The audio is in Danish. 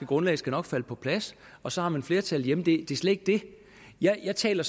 grundlag skal nok falde på plads og så har man flertallet hjemme det slet ikke det jeg taler